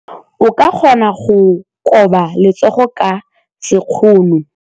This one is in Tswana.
O ka kgona go koba letsogo ka sekgono.